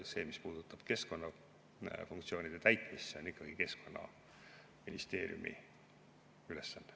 See, mis puutub keskkonnafunktsioonide täitmisse, on ikkagi Keskkonnaministeeriumi ülesanne.